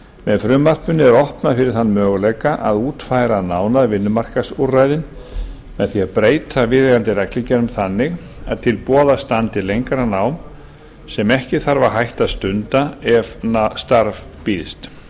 með frumvarpinu er opnað fyrir þann möguleika að útfæra nánar vinnumarkaðsúrræðin með því að breyta viðeigandi reglugerðum þannig að til boða standi lengra nám sem ekki þarf að hætta að stunda ef starf býðst